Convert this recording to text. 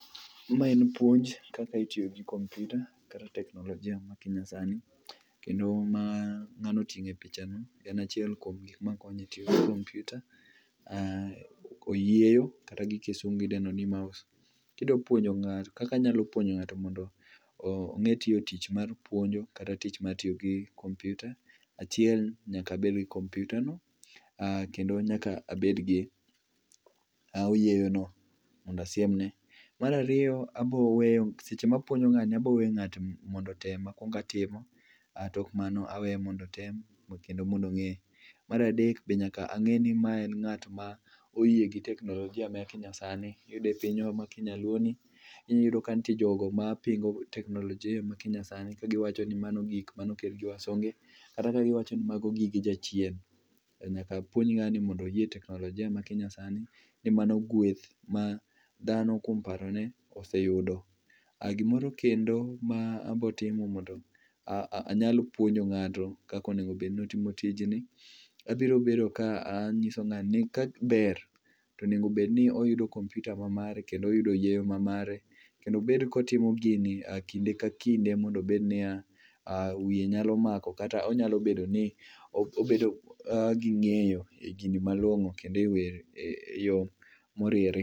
Ma en puonj kaka itiyo gi kompiuta kata teknolojia ma nyasani. Kendo ma ng'ano oting'o e pichani en chiel kuom gik mokonyo eyor kompiuta, oyieyo kata gikisungu idendo ni mouse. Kidua puonjo ng'ato kaka anyalo puonjo ng'ato mondo ong'e tiyo tich mar puonjo kata tich mar tiyo gi kompiutano, achiel nyaka abed gi kompiutano kendo nyaka abed gi oyieyono mondo asiemne. Mar ariyo abo weyo, seche ma apuonjo ng'ato ni abiro weyo ng'ato mondo otem matimo mar adek bende en ng'at ma oyie gi teknolojia ma kinyasani miyudo e pinywa ma kinyaluoni iyudo ka nitie joma pingo teknolojia ma kinyasani ka giwacho ni mano gik mane okel gi wasungu, kata ka giwacho ni mago gige jachien. Nyaka puonj ng'ani mondo oyie teknolojia ma kinyasani e mano gweth ma dhano kuom parone oseyudo. Gimoro kendo mabiro timo mondo anyal puonjo ng'ato en kaka onego bed ni otimo tijni. Abiro bedo kanyiso ng'ani ni kaber to onego bed ni oyudo kompiuta mamare kendo oyudo oyieyo mamare kendo obed kotimo gini kinde ka kinde mondo obed nia wiye nyalo mako kata onyalo bedo gi ng'eyo e gini malong'o kendo e yo moriere.